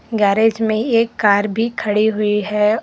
Garage में एक car भी खड़ी हुई है।